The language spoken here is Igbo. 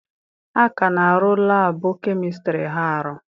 A ka na-arụ laabụ kemịstri Ha arụ.